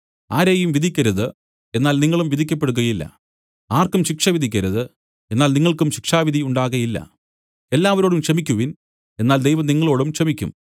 ആരെയും വിധിക്കരുത് എന്നാൽ നിങ്ങളും വിധിക്കപ്പെടുകയില്ല ആർക്കും ശിക്ഷ വിധിക്കരുത് എന്നാൽ നിങ്ങൾക്കും ശിക്ഷാവിധി ഉണ്ടാകയില്ല എല്ലാവരോടും ക്ഷമിക്കുവിൻ എന്നാൽ ദൈവം നിങ്ങളോടും ക്ഷമിയ്ക്കും